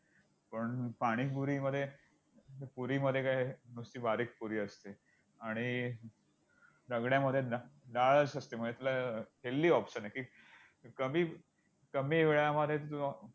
पण पाणीपुरीमध्ये पुरीमध्ये काय, नुसती बारीक पुरी असते आणि रगड्यामध्ये डाळच असते! म्हणजे तुला helathy option आहे की कमी~कमी वेळामध्ये तू